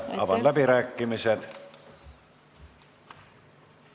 Avan läbirääkimised.